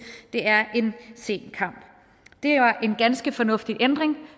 det er en sen kamp det var en ganske fornuftig ændring